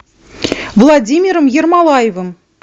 владимиром ермолаевым